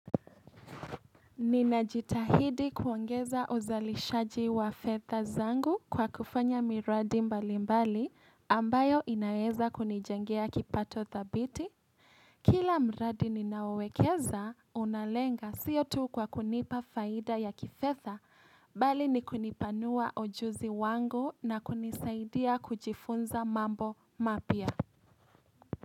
Ninajitahidi kuongeza uzalishaji wa fedha zangu kwa kufanya miradi mbalimbali ambayo inaweza kunijengea kipato dhabiti. Kila mradi ninaowekeza, unalenga siyo tu kwa kunipa faida ya kifedha, bali ni kunipanua ujuzi wangu na kunisaidia kujifunza mambo mapya.